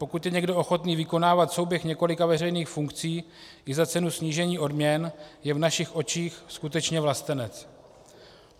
Pokud je někdo ochoten vykonávat souběh několika veřejných funkcí i za cenu snížení odměn, je v našich očích skutečně vlastenec.